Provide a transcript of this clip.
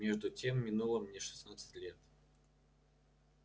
между тем минуло мне шестнадцать лет